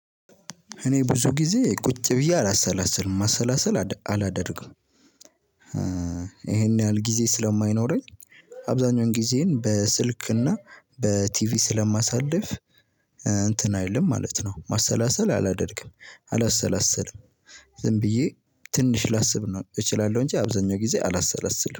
እኔ ብዙ ጊዜ ቁጭ ብዬ አላሰላስልም ማሰላሰል አላደርግም ይሄን ያህል ጊዜ ስለማይኖረኝ አብዛኛውን ጊዜን በስልክና በቲቪ ስለማሳልፍ እንትን አይልም ማለት ነው ማሰላሰል አላደርግም አላሰላስልም ዝም ብዬ ትንሽ ላስብ ነው እችላለሁ እንጂ አብዛኛው ጊዜ አላሰላስልም።